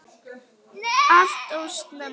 Allt of snemma.